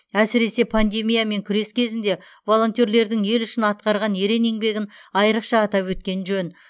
әсіресе пандемиямен күрес кезінде волонтерлердің ел үшін атқарған ерен еңбегін айрықша атап өткен жөн